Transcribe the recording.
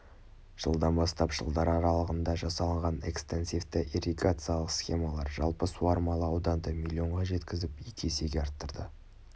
жылдан бастап жылдар аралығында жасалынған экстенсивті ирригациялық схемалар жалпы суармалы ауданды миллионға жеткізіп екі есеге арттырды